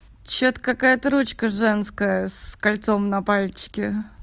что-то какая-то ручка женская с кольцом на пальчике